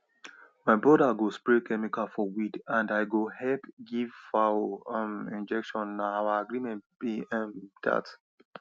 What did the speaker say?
my brother go spray chemical for weed and i go help give fowl um injection na our agreement be um that